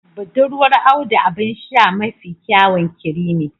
Budurwar Audu abin sha ne mafi kyawun creami